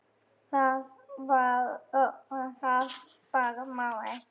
Það bara má ekki.